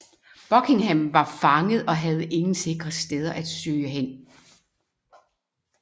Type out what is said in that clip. Buckingham var fanget og havde ingen sikre steder at søge hen